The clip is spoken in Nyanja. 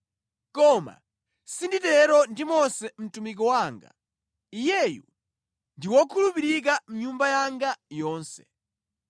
Koma sinditero ndi Mose mtumiki wanga; Iyeyu ndi wokhulupirika mʼnyumba yanga yonse.